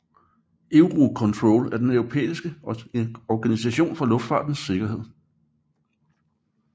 Eurocontrol er den europæiske Organisation for Luftfartens Sikkerhed